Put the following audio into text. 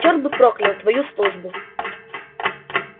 чёрт бы проклял твою службу